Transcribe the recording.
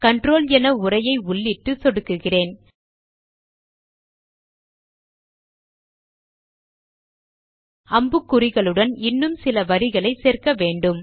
control என உரையை உள்ளிட்டு சொடுக்குகிறேன் அம்புக்குறிகளுடன் இன்னும் சில வரிகளை சேர்க்க வேண்டும்